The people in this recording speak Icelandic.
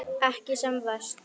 Ekki sem verst?